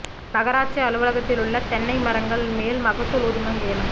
நகராட்சி அலுவலகத்திலுள்ள தென்னை மரங்கள் மேல் மகசூல் உரிமம் ஏலம்